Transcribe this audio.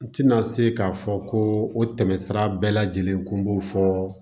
N tɛna se k'a fɔ ko o tɛmɛsira bɛɛ lajɛlen kun b'o fɔ